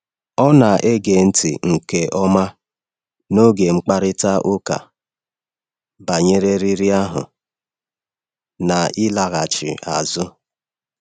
Ọ na-ege ntị nke ọma n’oge mkparịta ụka banyere riri ahụ na ịlaghachi azụ.